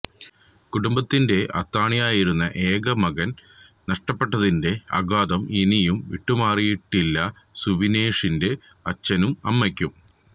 കുടുംബത്തിന്റെ അത്താണിയായിരുന്ന ഏക മകന് നഷ്ടപ്പെട്ടതിന്റെ ആഘാതം ഇനിയും വിട്ടുമാറിയിട്ടില്ല സുബിനേഷിന്റെ അച്ഛനും അമ്മയ്ക്കും